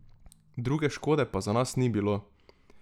Druge škode pa za nas ni bilo.